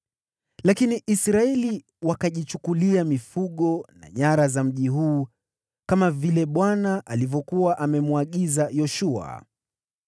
Lakini Israeli wakajichukulia mifugo na nyara za mji huu, kama vile Bwana alivyokuwa amemwagiza Yoshua.